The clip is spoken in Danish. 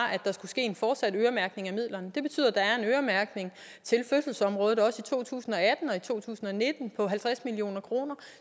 at der skulle ske en fortsat øremærkning af midlerne det betyder at der er en øremærkning til fødselsområdet også i to tusind og to tusind og nitten på halvtreds million kroner